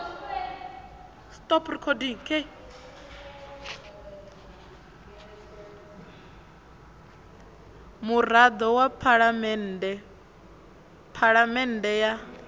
murado wa phalamende phafamende ya